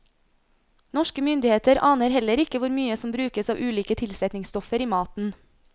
Norske myndigheter aner heller ikke hvor mye som brukes av ulike tilsetningsstoffer i maten.